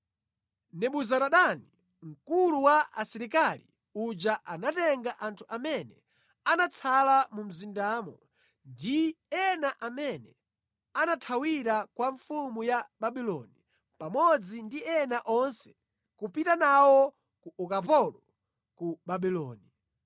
Nebuzaradani mkulu wa asilikali uja anatenga anthu amene anatsala mu mzindamo, ndi ena amene anathawira kwa mfumu ya Babuloni, pamodzi ndi ena onse kupita nawo ku ukapolo ku Babuloni.